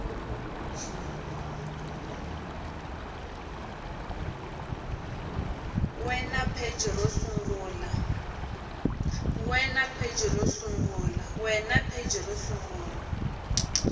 we na pheji ro sungula